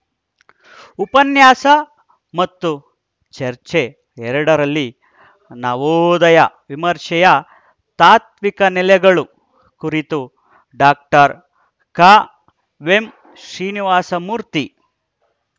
ಉಪನ್ಯಾಸ ಮತ್ತು ಚರ್ಚೆ ಎರಡರಲ್ಲಿ ನವೋದಯ ವಿಮರ್ಶೆಯ ತಾತ್ವಿಕ ನೆಲೆಗಳು ಕುರಿತು ಡಾಕ್ಟರ್ ಕಾವೆಂ ಶ್ರೀನಿವಾಸಮೂರ್ತಿ